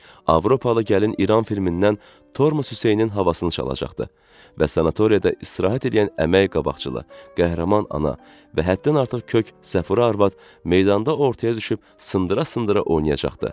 Avropalı gəlin İran filmindən tormos Hüseynin havasını çalacaqdı və sanatoriyada istirahət eləyən əməyi qabaqcıl, qəhrəman ana və həddən artıq kök Səfurə arvad meydanda ortaya düşüb sındıra-sındıra oynayacaqdı.